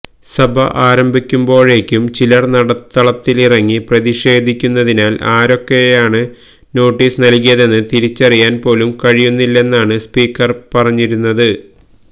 സഭ ആരംഭിക്കുമ്പോഴേക്കും ചിലര് നടുത്തളത്തില് ഇറങ്ങി പ്രതിഷേധിക്കുന്നതിനാല് ആരൊക്കെയാണ് നോട്ടീസ് നല്കിയതെന്ന് തിരിച്ചറിയാന് പോലും കഴിയുന്നില്ലെന്നാണ് സ്പീക്കര് പറഞ്ഞിരുന്നത്